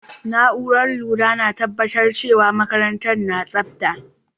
Naúrar lura na tabatar cewa makarantan na tsabta.